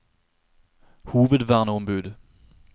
hovedverneombud